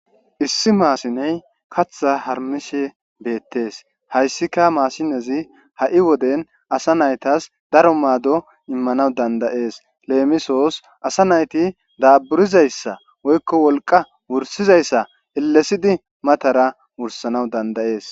Issi mashine kaththa harumishe bettes haysika mashizi ha'i woden ASA naytas daro maddo imanas danda'es lemisis ASA nayti daburizaysa woyko wolqa wursizaysa elesidi matara wurisanas danda'es